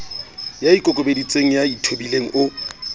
ya ikokobeditseng ya ithobileng o